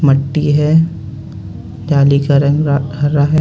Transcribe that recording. मट्टी है जाली का रंग रा हरा है।